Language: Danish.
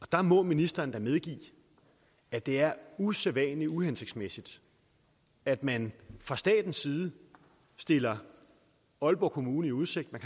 der må ministeren da medgive at det er usædvanlig uhensigtsmæssigt at man fra statens side stiller aalborg kommune i udsigt at